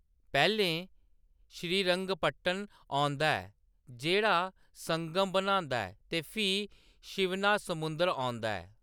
पैह्‌‌‌लें श्रीरंगपटन औंदा ऐ, जेह्‌‌ड़ा संगम बनांदा ऐ, ते फ्ही शिवनासमुद्र औंदा ऐ।